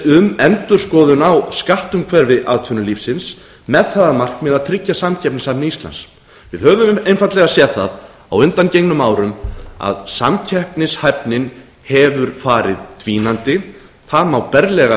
um endurskoðun á skattumhverfi atvinnulífsins með það að markmiði að tryggja samkeppnishæfni íslands við höfum einfaldlega séð það á undanförnum árum að samkeppnishæfnin hefur farið dvínandi það má berlega